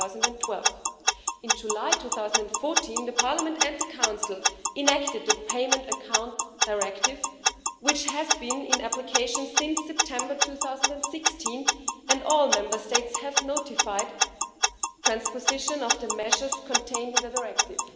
2012. In July 2014, Parliament and the Council enacted a Payment Accounts Directive, which has been in application since September 2016 and all Member States have notified transposition of the measures contained in the Directive.